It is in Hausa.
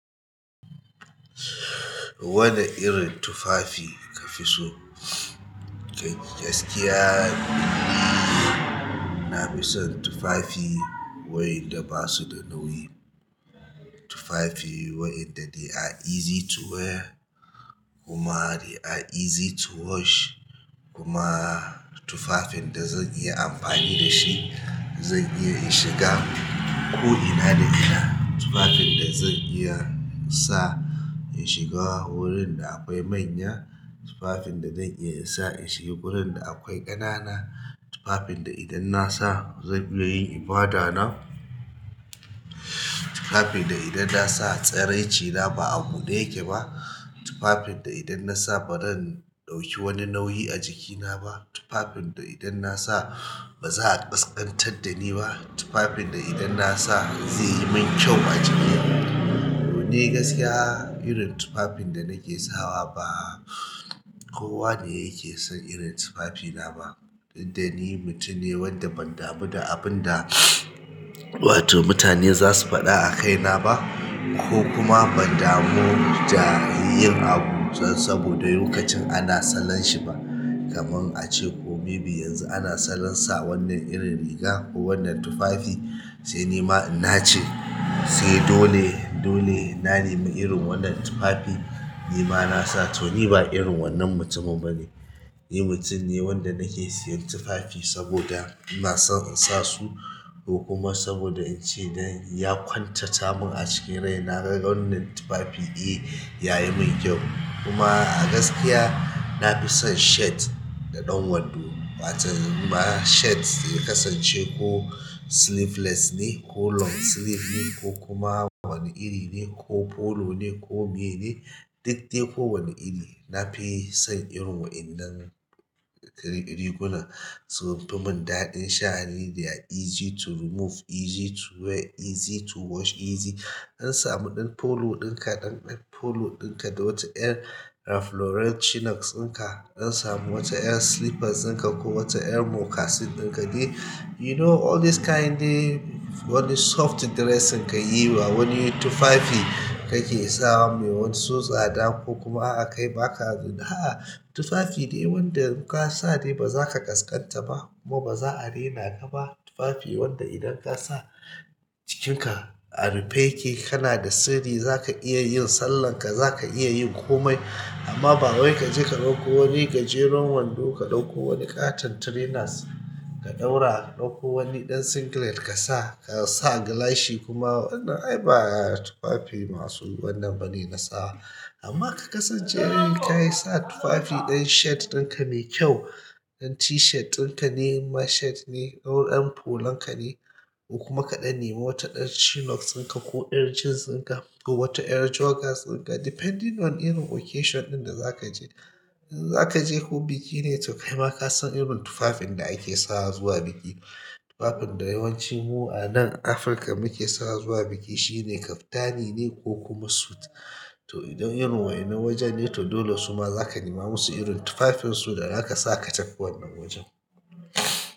Wane irin tufafi ka fi so? Gaskiya, ni na fi son tufafi wa'inda ba su da nauyi. Tufafi wa'inda they are easy to wear kuma they are easy to wash. Kuma tufafin da zan iya amfani da shi, zan iya in shiga ko ina da ina. Tufafin da zan iya sa in shiga wurin da akwai manya, tufafin da zan iya sa in shiga gurin da akwai ƙanana, tufafin da idan na sa zan iya yin ibada na, tufafin da idan na sa tsararci na ba a buɗe yake ba, tufafin da idan na sa ba zan ɗauki wani nauyi a jikina ba, tufafin da idan na sa ba za a ƙasƙantar da ni ba, tufafin da idan na sa zai yi min kyau a jiki. Ni gaskiya irin tufafin da nake sawa ba kowa ne yake son irin tufafina ba. Didda ni mutum ne wanda ban damu da abun da wato mutane zasu faɗa a kaina ba ko kuma ban damu da yin abu dan saboda lokacin a lna salanshi ba kaman ace ko maybe yanzu ana sallan sa wannan irin riga ko wannan tufafi sai ni ma in nace sai dole, dole na nemi irin wannan tufafi, ni ma na sa to ni ba irin wannan mutumin ba ne. Ni mutum ne wanda nake siyan tufafi saboda ina son in sa su ko kuma saboda in ce ya kwantata mun a cikin rai na ga wannan tufafi, eh ya yi min kyau. Kuma a gaskiya na fi son shirt da ɗan wando wato ma shirt ya kasance ko sleeveless ne ko long sleeve ne ko kuma wani iri ne ko polo ne ko me ne, duk dai ko wane iri na fi son irin waɗannan riguna su fi mun ɗaɗin sha'ani they are easy to remove, easy to wear, easy to wash, easy. An samu ɗan polo ɗinka, ɗan polo ɗinka da wata yar Ralph Lauren chinos ɗinka, an samu wata yar slippers ɗinka ko wata yar moccasin ɗinka de you know all these kind dee. Wani soft dressing kayi ba wani tufafi kake sawa ba mai so tsada ko kuma a'a kai baka. A'a, tufafi dai wanda in ka sa dai ba za ka ƙasƙanta ba kuma ba za'a rena ka ba. Tufafi wanda idan kasa jikin ka a rufe yake kana da sirri zaka iya yin sallah ka zaka iya yin komai. Amma ba wai kaje ka ɗauko wani gajeren wando, ka ɗauko wani ƙaton trainers ka ɗaura, ka ɗauko wani ɗan singlet ka sa, ka sa gilashi kuma wannan ai ba tufafi masu wannan bane na sawa. Amma ka kasance kayi sa tufafi ɗan shirt ɗinka me kyau, ɗan t-shirt ɗinka ne ma shirt ne ko ɗan polo ka ne ko kuma kaɗan nema wata ɗan chinos ɗinka ko ɗan jeans ɗinka ko wata yar joggers ɗinka depending on irin occasion ɗin da za ka je. In za ka je ko biki ne to kai ma ka san irin tufafin da ake sawa zuwa biki. Tufafin da yawancinmu a nan Afirka muke sawa zuwa biki shine kaftani ne ko kuma suit. To idan irin wa'innan wajan ne to dole suma zaka nema masu irin tufafin su da zaka sa ka tafi wannan wajan.